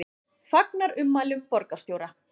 Fagnar ummælum borgarstjóra